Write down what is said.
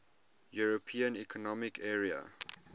european economic area